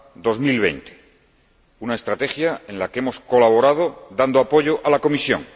2020. Una estrategia en la que hemos colaborado dando apoyo a la Comisión.